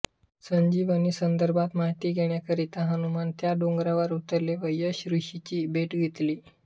संजीवनी संदर्भात माहिती घेन्याकारिता हनुमान त्या डोंगरावर उतरले व यक्ष ऋषीची भेट घेतली